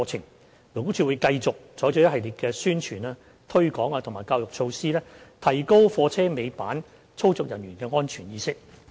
勞工處會繼續採取一系列宣傳、推廣及教育措施，提高貨車尾板操作人員的安全意識。